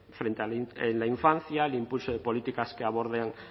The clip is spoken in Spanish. frente a en la infancia el impulso de políticas que aborden